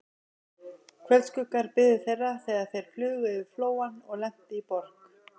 Kvöldskuggar biðu þeirra, þegar þeir flugu yfir Flóann og lentu í Borg